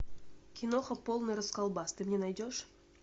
киноха полный расколбас ты мне найдешь